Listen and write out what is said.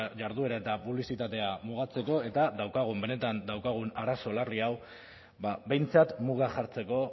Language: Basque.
jarduera eta publizitatea mugatzeko eta daukagun benetan daukagun arazo larri hau du behintzat muga jartzeko